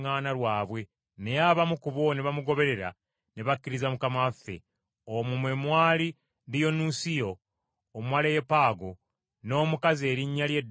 Naye abamu ku bo ne bamugoberera ne bakkiriza Mukama waffe. Omwo mwe mwali Diyonusiyo Omwaleyopaago, n’omukazi erinnya lye Damali n’abalala.